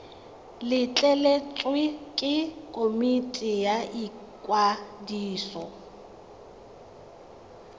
letleletswe ke komiti ya ikwadiso